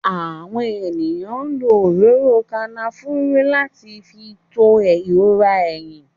Àwọn èèyàn lo òróró Kànáfùrù láti fi tú ìrora eyín